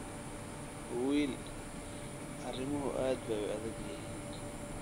Wiil, arrimuhu aad bay u adag yihiin